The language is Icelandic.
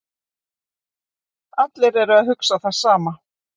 Allir eru að hugsa það sama